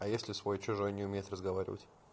а если свой-чужой не умеет разговаривать